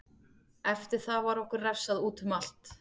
Eftir það var okkur refsað útum allt.